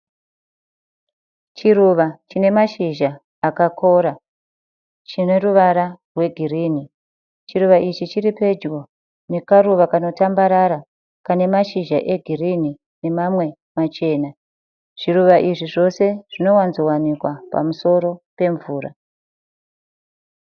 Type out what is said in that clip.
Chiruva chine mashizha akakora chine ruvara rwegirini. Chiruva ichi chiri pedyo nekaruva kanotambarara kane mashizha egirinhi nemamwe machena. Zviruva izvi zvose zvinowanzowanikwa pamusoro pemvura.